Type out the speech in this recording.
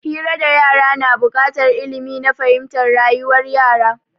Hira da yara na bukatar ilmi na fahimtar rayuwar yara